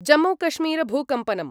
जम्मूकश्मीरभूकम्पनम्